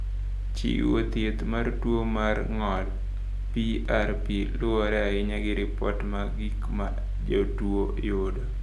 Chiwo thieth mar tuo mar ng’ol (PRP) luwore ahinya gi ripot mag gik ma jotuwo yudo.